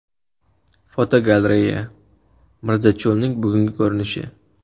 Fotogalereya: Mirzacho‘lning bugungi ko‘rinishi.